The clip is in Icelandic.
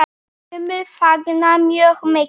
Sumir fagna mjög mikið.